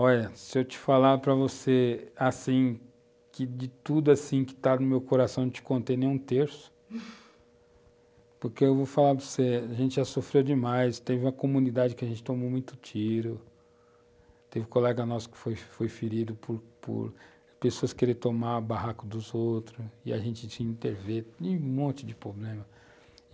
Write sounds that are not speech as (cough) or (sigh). Olha, se eu te falar para você, assim, que de tudo, assim, que está no meu coração, eu não te contei nem um terço, (laughs) porque eu vou falar para você, a gente já sofreu demais, teve uma comunidade que a gente tomou muito tiro, teve colega nosso que foi ferido por por pessoas quererem tomar o barraco dos outros, e a gente tinha que intervir, e um monte de problema.